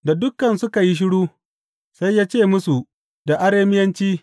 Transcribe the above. Da dukan suka yi shiru, sai ya ce musu da Arameyanci,